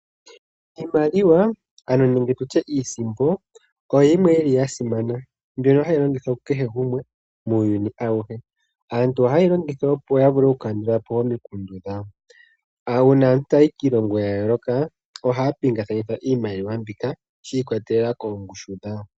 Iisimpo oyo yimwe yili ya simana, mbyono hayi longithwa ku kehe gumwe muuyuni awuhe. Aantu oha yeyi longitha opo ya vule oku kandulapo omikundu dhawo. Uuna aantu taya yi kiilongo ya yooloka ohaya pingakanitha iimaliwa mbika shi ikwatelela koongushu dhayo.